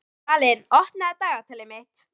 Dvalinn, opnaðu dagatalið mitt.